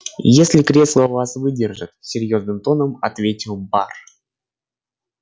если кресла вас выдержат серьёзным тоном ответил бар